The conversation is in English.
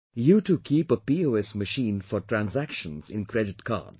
You too keep a POS machine for transactions in Credit Cards